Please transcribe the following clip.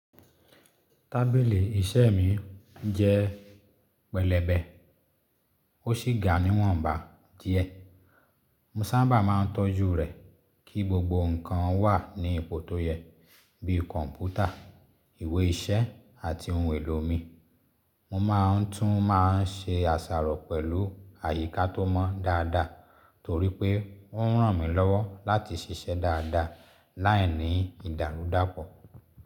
Tábìlì iṣẹ́ mi jẹ́ pẹlẹbẹ, ó sì ga ní ìwọ̀nba díẹ̀. Mo sábà máa ń tọ́jú rẹ̀ kí gbogbo nǹkan wà ní ipò tó yẹ, bíi kọ̀m̀pútà, ìwé iṣẹ́ àti ohun èlò mi. Mo máa ń tún máa ń ṣe àṣàrò pẹ̀lú àyíká tó mọ́ dáadáa torí pé ó ń ràn mí lọ́wọ́ láti ṣiṣẹ́ dáadáa láìní ìdàrúdàpọ̀.